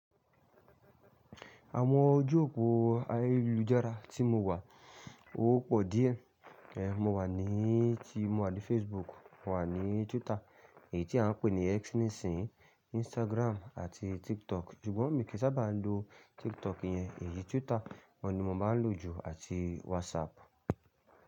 Àwọn ojú òpó ayélujára tí mo wà, ó pò díẹ̀. Èéh, mo wà ní tí mo wà ní Facebook, mo wà ní Twitter èyí tí à ń pè ní X nísìnyí, Instagram àti TikTok. Ṣùgbọ́n mí kìí sábà lo TikTok yẹn, èyí Twitter, ọ̀ ní mò má n lò jù àti WhatsApp.